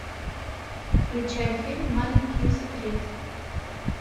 включай фильм маленькие секреты